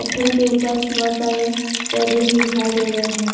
पत्थर के ऊपर बहोत सारे पौधे भी दिखाई दे रहे हैं।